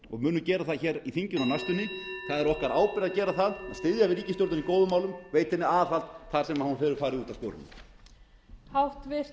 og munum gera það í þinginu á næstunni það er okkar ábyrgð að gera það að styðja við ríkisstjórninni í góðum málum og veita henni aðhald þar sem hún hefur farið út af sporinu